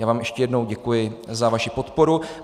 Já vám ještě jednou děkuji za vaši podporu.